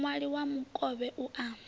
muwani wa mukovhe u a